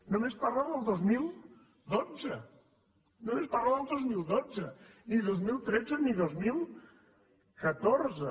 només parla del dos mil dotze només parla del dos mil dotze ni dos mil tretze ni dos mil catorze